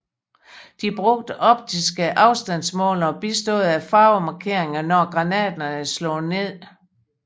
De brugte optiske afstandsmålere bistået af farvemarkeringer når granaterne slog ned